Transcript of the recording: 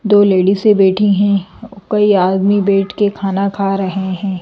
दो लेडी से बैठी हैं कई आदमी बैठ के खाना खा रहे हैं।